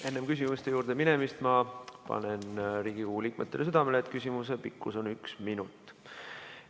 Enne küsimuste juurde minemist ma panen Riigikogu liikmetele südamele, et küsimuse pikkus on üks minut.